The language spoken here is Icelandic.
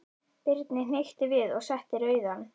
Birni hnykkti við og setti rauðan.